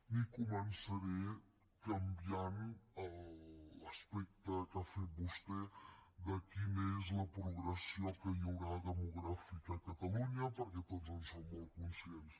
ni començaré canviant l’aspecte que ha fet vostè de quina és la progressió que hi haurà demogràfica a catalunya perquè tots en som molt conscients